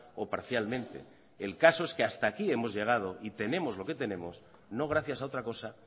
o parcialmente el caso es que hasta aquí hemos llegado y tenemos lo que tenemos no gracias a otra cosa